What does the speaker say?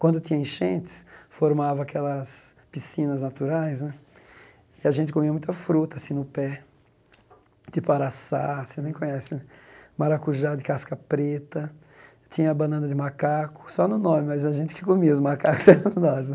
Quando tinha enchentes, formava aquelas piscinas naturais né, e a gente comia muita fruta assim no pé, tipo araçá, você nem conhece né, maracujá de casca preta, tinha banana de macaco, só no nome, mas a gente que comia, os macacos eram nós né.